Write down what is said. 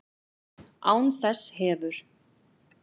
Án þess hefur